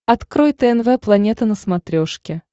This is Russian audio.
открой тнв планета на смотрешке